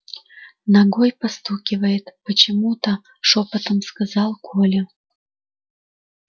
ногой постукивает почему то шёпотом сказал коля